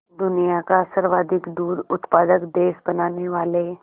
दुनिया का सर्वाधिक दूध उत्पादक देश बनाने वाले